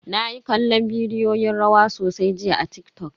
Nayi kallon bidiyoyin rawa sosai jiya a TikTok.